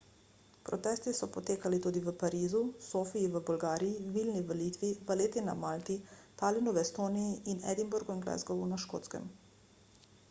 protesti so potekali tudi v parizu sofiji v bolgariji vilni v litvi valletti na malti talinu v estoniji in edinburgu in glasgowu na škotskem